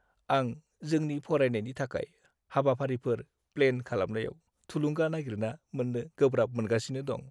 आं जोंनि फरायनायनि थाखाय हाबाफारिफोर प्लेन खालामनायाव थुलुंगा नागिरना मोन्नो गोब्राब मोनगासिनो दं।